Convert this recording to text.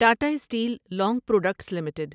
Tata steel long products limited